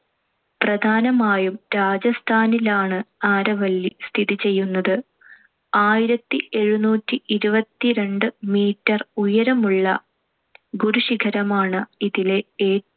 പ്രധാനമായും രാജസ്ഥാനിലാണ്‌ ആരവല്ലി സ്ഥിതിചെയ്യുന്നത്. ആയിരത്തിഎഴുനൂറ്റിഇരുപത്തിരണ്ട്‍ meter ഉയരമുള്ള ഗുരുശിഖരമാണ്‌ ഇതിലെ